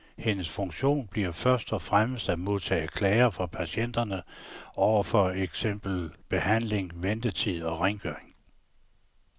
Hendes funktion bliver først og fremmest at modtage klager fra patienterne over for eksempel behandling, ventetider og rengøring.